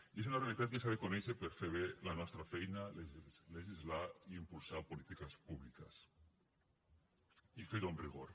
i és una realitat que s’ha de conèixer per fer bé la nostra feina legislar i impulsar polítiques públiques i fer ho amb rigor